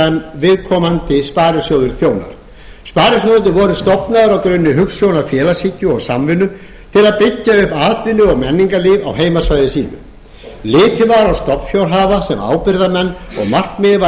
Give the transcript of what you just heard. sem viðkomandi sparisjóður þjónar sparisjóðirnir voru stofnaðir á grunni hugsjóna félagshyggju og samvinnu til að byggja upp atvinnu og menningarlíf á heimasvæði sínu litið var á stofnfjárhafa sem ábyrgðarmenn og markmiðið var